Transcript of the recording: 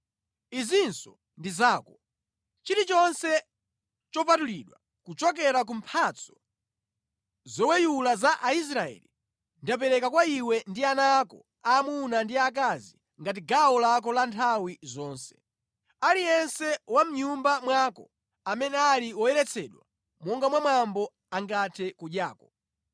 “Izinso ndi zako: chilichonse chopatulidwa kuchokera ku mphatso zoweyula za Aisraeli ndapereka kwa iwe ndi ana ako aamuna ndi aakazi ngati gawo lako la nthawi zonse. Aliyense wa mʼnyumba mwako amene ali woyeretsedwa monga mwa mwambo angathe kudyako.